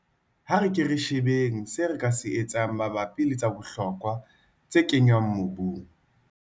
A re keng re shebeng seo re ka se etsang mabapi le tsa bohlokwa tse kenngwang mobung.